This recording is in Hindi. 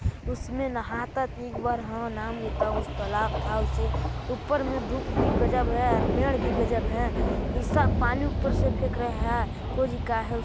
उसमें नाहता ता एक बार ह नाम लेता उस तालाब था उसे ऊपर मे धूप भी गजब है और पेड़ भी गजब है ऐसा पानी ऊपर से फेंक रहा हैं को काहे --